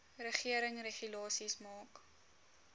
regering regulasies maak